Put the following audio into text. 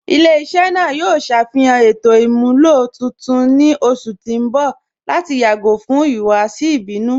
Ilẹ̀-iṣẹ naa yoo ṣafihan ètò imúlọ tuntun ni ọṣù ti n bọ̀ lati yagọ̀ fún ihuwasi ibinu.